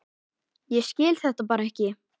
Ég skil þetta bara ekki.